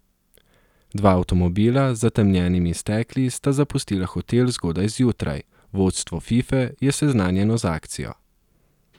Dva avtomobila z zatemnjenimi stekli sta zapustila hotel zgodaj zjutraj, vodstvo Fife je seznanjeno z akcijo.